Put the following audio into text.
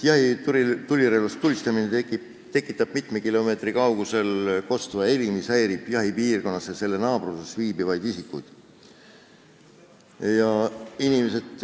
Jahitulirelvast tulistamine tekitab mitme kilomeetri kaugusele kostva heli, mis häirib jahipiirkonnas ja selle naabruses viibivaid isikuid.